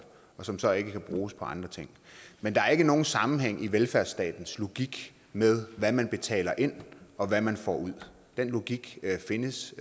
og som så ikke kan bruges på andre ting men der er ikke nogen sammenhæng i velfærdsstatens logik med hvad man betaler ind og hvad man får ud den logik findes